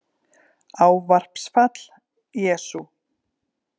Ávarpsfall: Jesú